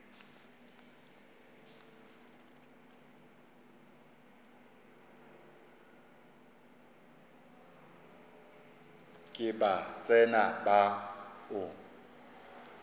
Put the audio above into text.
ke ba tsena ba o